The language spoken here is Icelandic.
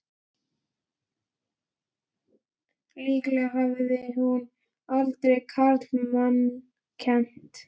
Líklega hafði hún aldrei karlmanns kennt!